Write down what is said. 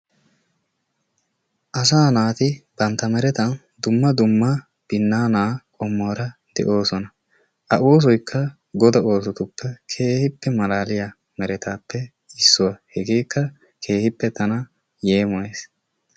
Asaa naati bantta merettan dumma dumma binnaanaa qommuwaara de"oosona. Ha oosoykka godaa oosotuppe keehippe malaliyaa merettaappe issuwaa. Hegeekka keehippe tana yeemoyees.